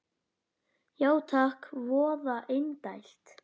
Já takk, voða indælt